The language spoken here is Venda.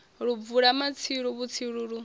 lu bvula matsilu vhutsilu lu